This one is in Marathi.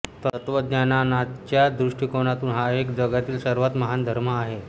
तत्त्वज्ञानानाच्या दृष्टिकोनातून हा जगातील सर्वात महान धर्म आहे